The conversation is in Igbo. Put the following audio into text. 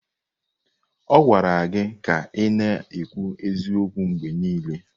A gwara gị ka ị na-ekwu eziokwu mgbe niile!